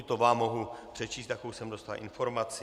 - I to vám mohu přečíst, jakou jsem dostal informaci.